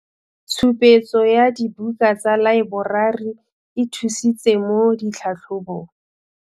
Tshupetso ya dibuka tsa laeborari e thusitse mo tlhatlhobong.